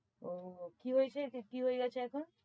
ও কি হয়েছে কি হয়েগেছে এখন?